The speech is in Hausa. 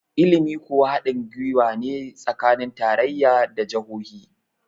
ilimi kuwa hadin gwiwa ne tsakanin tarayya da jahohi